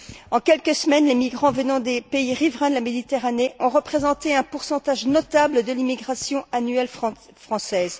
En quelques semaines, les migrants venant des pays riverains de la Méditerranée ont représenté un pourcentage notable de l'immigration annuelle française.